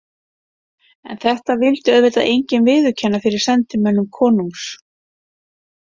En þetta vildi auðvitað enginn viðurkenna fyrir sendimönnum konungs.